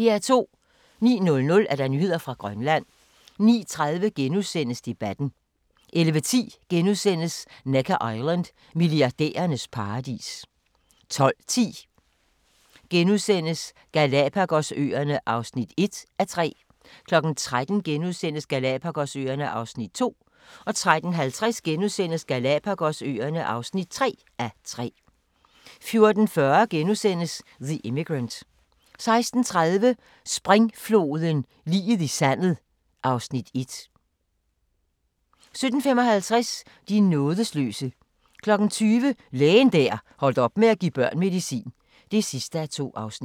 09:00: Nyheder fra Grønland 09:30: Debatten * 11:10: Necker Island: Milliardærernes paradis * 12:10: Galapagos-øerne (1:3)* 13:00: Galapagos-øerne (2:3)* 13:50: Galapagos-øerne (3:3)* 14:40: The Immigrant * 16:30: Springfloden – liget i sandet (Afs. 1) 17:55: De nådesløse 20:00: Lægen der holdt op med at give børn medicin (2:2)